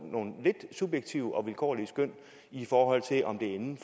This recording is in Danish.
lidt subjektive og vilkårlige skøn i forhold til om det er inden